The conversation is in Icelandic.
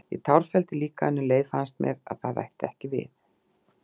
Ég tárfelldi líka, en um leið fannst mér það ætti ekki við.